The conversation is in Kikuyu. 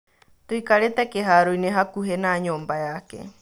Tũikarĩte kĩharoinĩ hakuhĩ na nyũmba yeke.